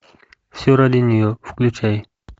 все ради нее включай